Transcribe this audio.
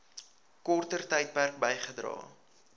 korter tydperk bygedra